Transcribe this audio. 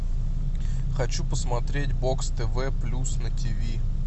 хочу посмотреть бокс тв плюс на тв